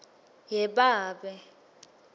yebabe